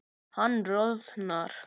Hann roðnar.